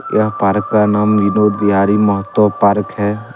यह पारक का नाम विनोद बिहारी महतो पारक है।